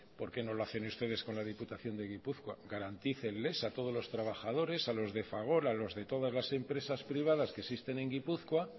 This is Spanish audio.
por qué no lo hacen ustedes con la diputación de gipuzkoa garantícenles a todos los trabajadores a los de fagor a los de todas las empresas privadas que existen en gipuzkoa